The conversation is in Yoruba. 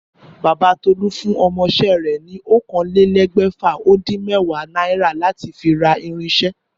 Bàbá Tó̩lá fún o̩mo̩ is̩é̩ rè̩ ni oókanlelé̩gbè̩fà-ó-dín-mé̩wàá náírà láti fi ra irin is̩é̩